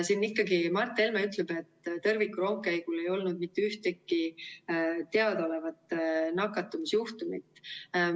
Siin Mart Helme ütleb, et tõrvikurongkäigul ei olnud mitte ühtegi teadaolevat nakatumisjuhtumit.